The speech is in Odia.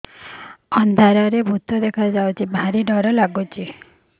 ଅନ୍ଧାରରେ ଭୂତ ଦେଖା ଯାଉଛି ଭାରି ଡର ଡର ଲଗୁଛି